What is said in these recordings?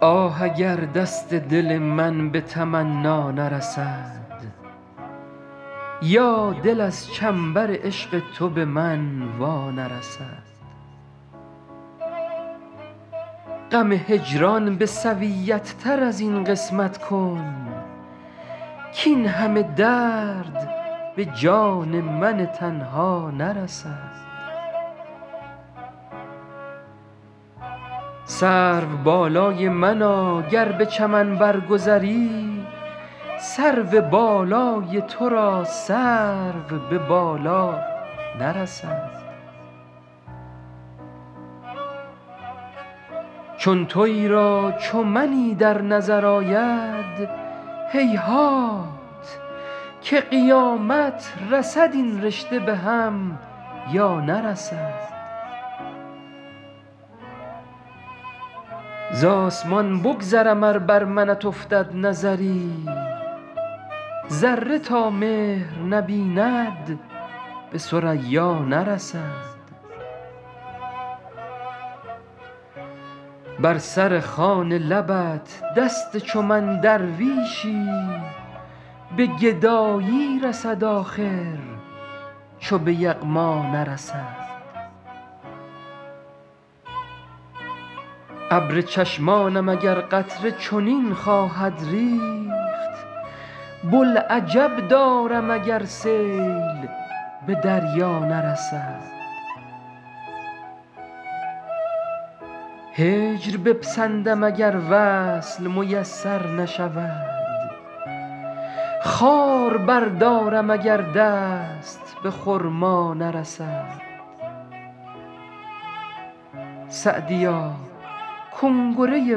آه اگر دست دل من به تمنا نرسد یا دل از چنبر عشق تو به من وا نرسد غم هجران به سویت تر از این قسمت کن کاین همه درد به جان من تنها نرسد سروبالای منا گر به چمن بر گذری سرو بالای تو را سرو به بالا نرسد چون تویی را چو منی در نظر آید هیهات که قیامت رسد این رشته به هم یا نرسد زآسمان بگذرم ار بر منت افتد نظری ذره تا مهر نبیند به ثریا نرسد بر سر خوان لبت دست چو من درویشی به گدایی رسد آخر چو به یغما نرسد ابر چشمانم اگر قطره چنین خواهد ریخت بوالعجب دارم اگر سیل به دریا نرسد هجر بپسندم اگر وصل میسر نشود خار بردارم اگر دست به خرما نرسد سعدیا کنگره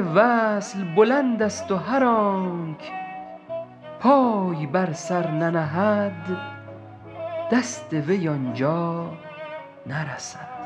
وصل بلندست و هر آنک پای بر سر ننهد دست وی آن جا نرسد